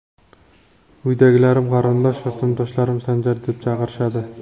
Uydagilarim, qarindosh va sinfdoshlarim Sanjar deb chaqirishadi.